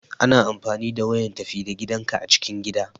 Ana amfani da wayan tafi da gidanka a cikin gida.